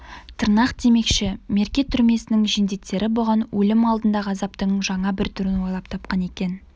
тырнақ демекші мерке түрмесінің жендеттері бұған өлім алдындағы азаптың жаңа бір түрін ойлап тапқан екен